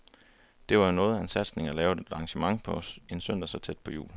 Det var jo var noget af en satsning at lave et arrangement på en søndag så tæt på jul.